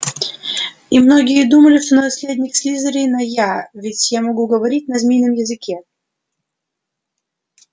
и многие думали что наследник слизерина я ведь я могу говорить на змеином языке